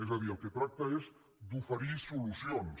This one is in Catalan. és a dir el que tracta és d’oferir solucions